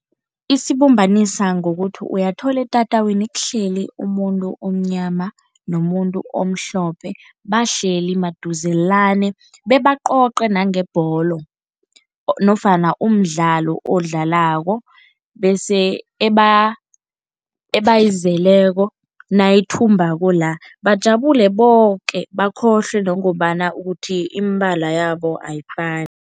Isibumbanisa ngokuthi uyathola etatawini kuhleli umuntu omnyama nomuntu omhlophe, bahleli maduzelane bebacoce nangebholo nofana umdlalo odlalako bese ebayizeleko nayithumbako la, bajabule boke, bakhohlwe nangombana ukuthi imibala yabo ayifani.